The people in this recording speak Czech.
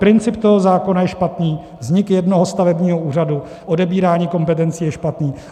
Princip toho zákona je špatný, vznik jednoho stavebního úřadu, odebírání kompetencí je špatné.